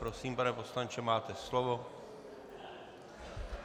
Prosím, pane poslanče, máte slovo.